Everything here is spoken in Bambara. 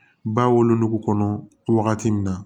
Ba wolo kɔnɔ wagati min na